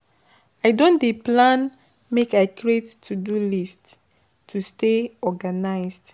I don dey plan make I create to-do list to stay organized.